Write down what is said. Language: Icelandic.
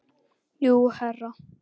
Jú, herra.